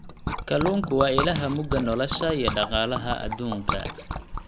Kalluunku waa ilaha mugga nolosha iyo dhaqaalaha adduunka.